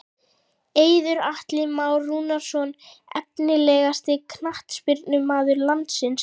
Eiður og Atli Már Rúnarsson Efnilegasti knattspyrnumaður landsins?